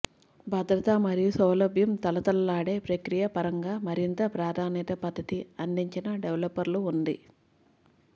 భద్రత మరియు సౌలభ్యం తళతళలాడే ప్రక్రియ పరంగా మరింత ప్రాధాన్యత పద్ధతి అందించిన డెవలపర్లు ఉంది